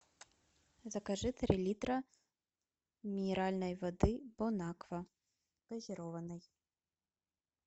закажи три литра минеральной воды бон аква газированной